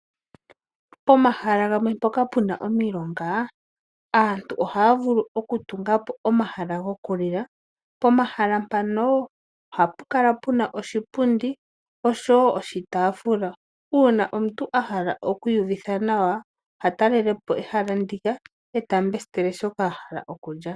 Pomahala gamwe mpoka puna omilonga aantu ohaya vulu oku tungapo omahala gokulila. Pomahala mpano ohapu kala puna oshipundi noshowoo oshitaafula. Uuna omuntu ahala okwiiyuvitha nawa oha talelepo ehala ndika eta mbesitele shoka ahala oku lya.